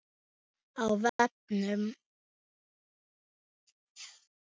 Á vefnum